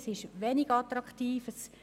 Es ist wenig attraktiv.